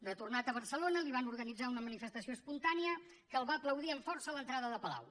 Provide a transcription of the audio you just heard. retornat a barcelona li van organitzar una manifestació espontània que el va aplaudir amb força a l’entrada de palau